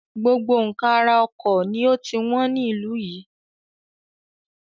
Gbogbo nkan ara ọkọ̀ ni ó ti wọn ní ìlú yìí.